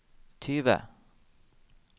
tyve